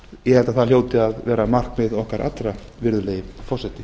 held að það hljóti að vera markmið okkar allar virðulegi forseti